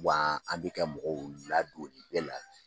Wa an bɛ kɛ mɔgɔw ladon nin bɛɛ la